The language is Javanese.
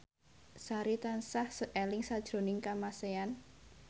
Sari tansah eling sakjroning Kamasean